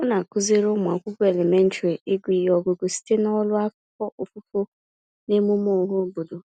Ọ na-akụziri ụmụakwụkwọ elementrị ịgụ ihe ọgụgụ site n'ọrụ afọ ofufo n'emume ọhaobodo.